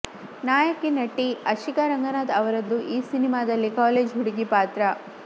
ನಾಯಕನಟಿ ಆಶಿಕಾ ರಂಗನಾಥ್ ಅವರದ್ದು ಈ ಸಿನಿಮಾದಲ್ಲಿ ಕಾಲೇಜ್ ಹುಡುಗಿ ಪಾತ್ರ